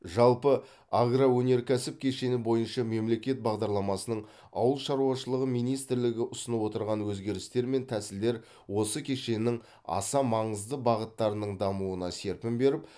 жалпы агроөнеркәсіп кешені бойынша мемлекет бағдарламасының ауыл шаруашылығы министрлігі ұсынып отырған өзгерістер мен тәсілдер осы кешеннің аса маңызды бағыттарының дамуына серпін беріп